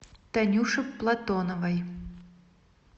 танюше платоновой